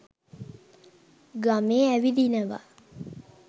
ගමේ ඇවිදිනවා